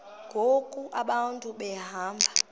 ngoku abantu behamba